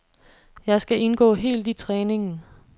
Jeg skal indgå helt i træningen.